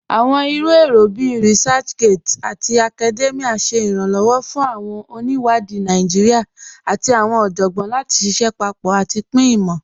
Awọn iru èrò bíí ResearchGate àti Academia ṣè iranlọwọ́ fún awọn oníwádì Naijíríà àti awọn ọjọ́gbọn láti ṣíṣẹ̀ papọ̀ àti pin imọ.